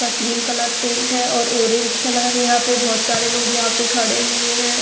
क cream colour paint है और ऑरेंज कलर यहां पे बहुत सारे लोग यहां पे खड़े हुए हैं।